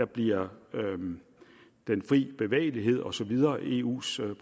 bliver den fri bevægelighed og så videre eus